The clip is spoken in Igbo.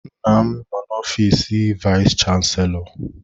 Nna m nọ n'ọfiis vayis chansilọ.